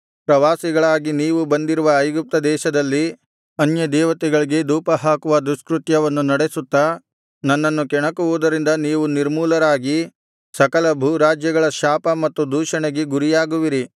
ಪ್ರವಾಸಿಗಳಾಗಿ ನೀವು ಬಂದಿರುವ ಐಗುಪ್ತ ದೇಶದಲ್ಲಿ ಅನ್ಯದೇವತೆಗಳಿಗೆ ಧೂಪಹಾಕುವ ದುಷ್ಕೃತ್ಯವನ್ನು ನಡೆಸುತ್ತಾ ನನ್ನನ್ನು ಕೆಣಕುವುದರಿಂದ ನೀವು ನಿರ್ಮೂಲರಾಗಿ ಸಕಲ ಭೂರಾಜ್ಯಗಳ ಶಾಪ ಮತ್ತು ದೂಷಣೆಗಳಿಗೆ ಗುರಿಯಾಗುವಿರಿ